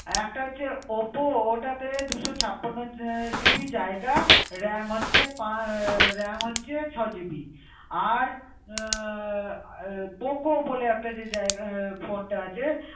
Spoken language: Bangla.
একটা হচ্ছে OPPO ওটাতে দুশো ছাপ্পান্ন আহ GB জায়গা, RAM হচ্ছে পাঁ~ আহ, RAM হচ্ছে ছয় GB । আর আহ POCO বলে একটা যে জায়গা আহ phone টা